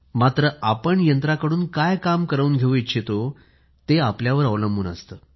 मात्र आपण यंत्राकडून काय काम करवून घेऊ इच्छितो ते आपल्यावर अवलंबून असते